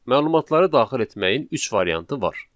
Məlumatları daxil etməyin üç variantı var.